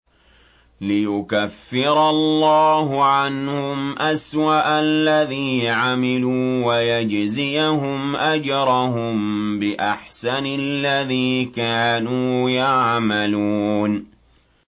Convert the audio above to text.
لِيُكَفِّرَ اللَّهُ عَنْهُمْ أَسْوَأَ الَّذِي عَمِلُوا وَيَجْزِيَهُمْ أَجْرَهُم بِأَحْسَنِ الَّذِي كَانُوا يَعْمَلُونَ